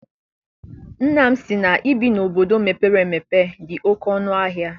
Nna m sị na ibi na obodo mepere emepe dị oké ọnụ ahịa.